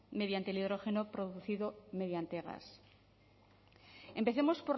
mediante el hidrógeno producido mediante gas empecemos